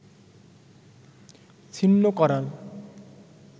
ছিন্ন করার